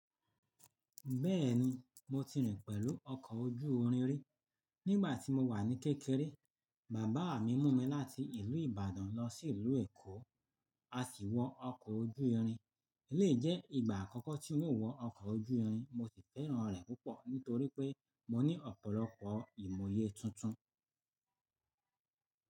Bẹ́ẹ̀ni, mo ti rìn pẹ̀lú ọkọ̀ ojú-irin rí. Nígbà tí mo wà ní kékeré, bàbá mi mú mi láti ìlú Ìbàdàn lọ sí ìlú Èkó, a sì wọ ọkọ̀ ojú-irin. Lé jẹ́ ìgbà àkọ́kọ́ tí n ó wọ ọkọ̀ ojú-irin, mo sì fẹ́ràn rẹ̀ púpọ̀ nítorí pé mo ní ọ̀pọ̀lọpọ̀ ìmọ̀yé tuntun.